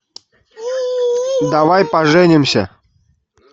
давай поженимся